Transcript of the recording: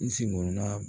I sigila